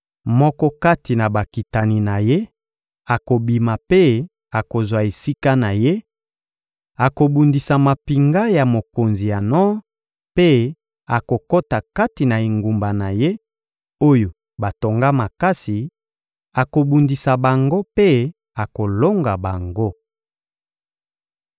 Moko kati na bakitani na ye akobima mpe akozwa esika na ye; akobundisa mampinga ya mokonzi ya nor mpe akokota kati na engumba na ye, oyo batonga makasi; akobundisa bango mpe akolonga bango.